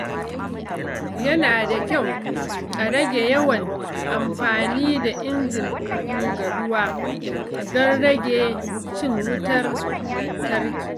Yana da kyau a rage yawan amfani da injin guga ruwa don rage cin wutar lantarki.